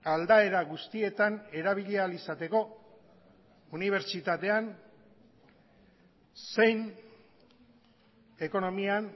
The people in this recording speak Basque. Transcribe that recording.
aldaera guztietan erabili ahal izateko unibertsitatean zein ekonomian